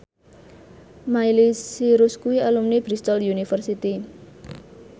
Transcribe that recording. Miley Cyrus kuwi alumni Bristol university